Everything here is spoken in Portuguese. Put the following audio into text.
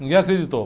Ninguém acreditou.